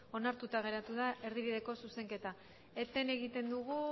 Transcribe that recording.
onartuta geratu da erdibideko zuzenketa eten egiten dugu